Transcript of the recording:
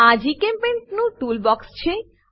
આ જીચેમ્પેઇન્ટ નું ટુલ બોક્ક્ષ છે